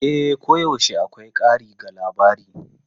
E, koyaushe akwai ƙari ga labari.